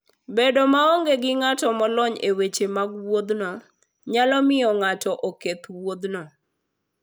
Bedo maonge gi ng'at molony e weche mag wuodhno, nyalo miyo ng'ato oketh wuodhno.